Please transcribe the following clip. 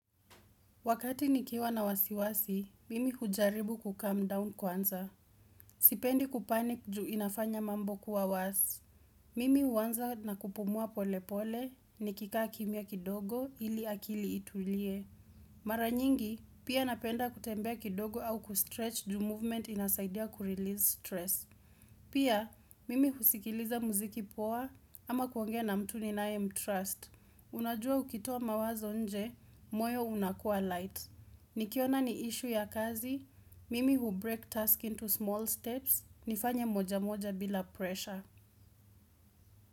Wakati nikiwa na wasiwasi, mimi hujaribu kukam down kwanza. Sipendi kupanik juu inafanya mambo kuwa wasi. Mimi uwanza na kupumua pole pole ni kika kimia kidogo ili akili itulie. Mara nyingi, pia napenda kutembea kidogo au kustretch juu movement inasaidia kurelease stress. Pia, mimi husikiliza muziki poa ama kuongea na mtu ninayemtrust. Unajua ukitoa mawazo nje, moyo unakua light. Nikiona ni issue ya kazi, mimi hubreak task into small steps, nifanye moja moja bila pressure.